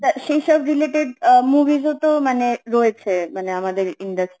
টা সেই সব রিলেটেড আ মুভিস ও তো মানে রয়েছে মানে আমাদের industry